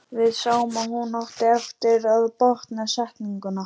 Við sáum að hún átti eftir að botna setninguna.